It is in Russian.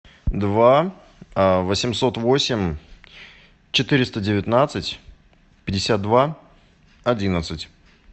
два восемьсот восемь четыреста девятнадцать пятьдесят два одиннадцать